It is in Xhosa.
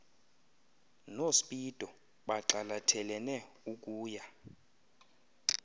nospido bagxalathelene ukuya